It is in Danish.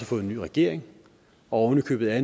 fået en ny regering og ovenikøbet er